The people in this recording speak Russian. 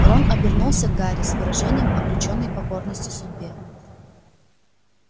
рон обернулся к гарри с выражением обречённой покорности судьбе